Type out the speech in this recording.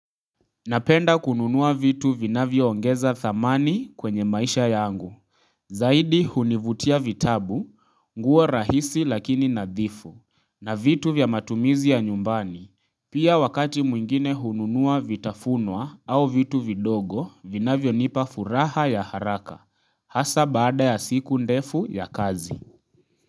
Napenda kununua vitu vinavyo ongeza thamani kwenye maisha yangu. Zaidi hunivutia vitabu, nguo rahisi lakini nadhifu, na vitu vya matumizi ya nyumbani. Pia wakati mwingine hununua vitafunwa au vitu vidogo, vinavyo nipa furaha ya haraka. Hasa baada ya siku ndefu ya kazi.